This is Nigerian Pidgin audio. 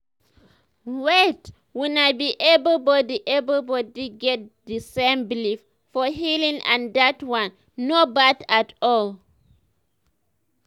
wait oono be everybody everybody get di same belief for healing and dat one no bad at all.